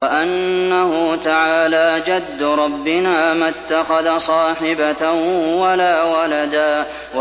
وَأَنَّهُ تَعَالَىٰ جَدُّ رَبِّنَا مَا اتَّخَذَ صَاحِبَةً وَلَا وَلَدًا